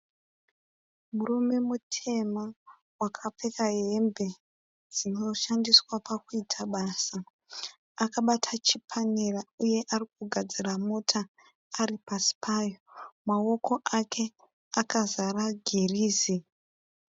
Murume mutema akapfeka hembe dzinoshandiswa pakuita basa. Akabata chipanera uye arikugadzira mota ari pasi payo. Maoko ake akazara girizi.